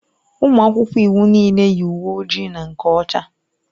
Ụmụ akwụkwọ iwu niile yi uwe ojii na nke ọcha.